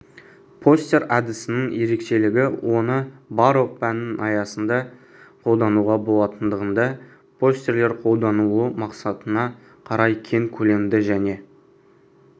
постер әдісінің ерекшелігі оны барлық пәннің аясында қолдануға болатындығында постерлер қолданылу мақсатына қарай кең көлемді және